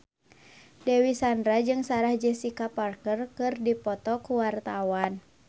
Dewi Sandra jeung Sarah Jessica Parker keur dipoto ku wartawan